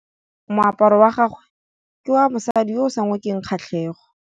Moaparô wa gagwe ke wa mosadi yo o sa ngôkeng kgatlhegô.